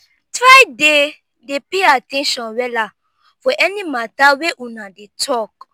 try dey dey pay at ten tion wella for any mata wey una dey talk